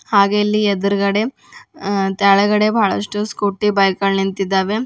ಹಾಗೆ ಇಲ್ಲಿ ಎದ್ರುಗಡೆ ತೆಳಗಡೆ ಬಹಳಷ್ಟು ಸ್ಕೂಟಿ ಬೈಕ್ ಗಳ್ ನಿಂತಿದ್ದಾವೆ.